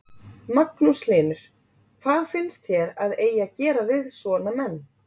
Magnús Hlynur: Hvað finnst þér að eigi að gera við svona menn?